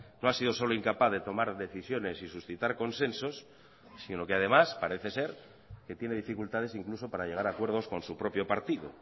no ha sido solo incapaz de tomar decisiones y suscitar consensos sino que además parece ser que tiene dificultades incluso para llegar a acuerdos con su propio partido